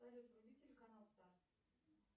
салют вруби телеканал старт